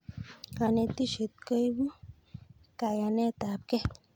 Kanetishet koipu kayaenet ab kei